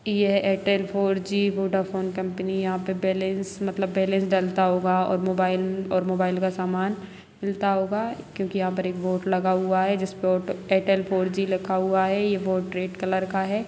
यह Airtel four G Vodafone कंपनी । यहाँ पर बैलेंस मतलब बैलेंस डालता होगा और मोबाइल और मोबाइल का सामान मिलता होगा क्योंकि यहां पर एक बोर्ड लगा हुआ है। जिस पर ओ एयरटेल फोर जी लिखा हुआ है। यह बोर्ड रेड कलर का है।